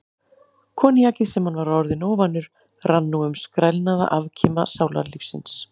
Koníakið, sem hann var orðinn óvanur, rann nú um skrælnaða afkima sálarlífsins.